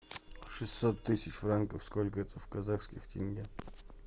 шестьсот тысяч франков сколько это в казахских тенге